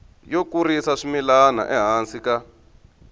yo kurisa swimila ehansi ka